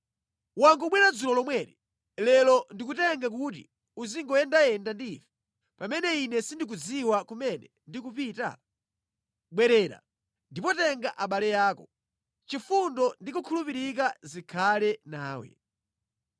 Wangobwera dzulo lomweli, lero ndikutenge kuti uziyendayenda ndi ife, pamene ine sindikudziwa kumene ndikupita? Bwerera, ndipo tenga abale ako. Chifundo ndi kukhulupirika zikhale nawe.”